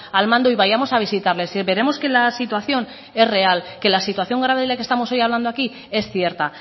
al mando y vayamos a visitarles y veremos que la situación es real que la situación grave de la que estamos hablando hoy aquí es cierta